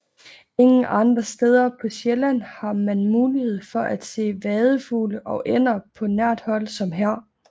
Ingen andre steder på Sjælland har man mulighed for at se vadefugle og ænder på nært hold som her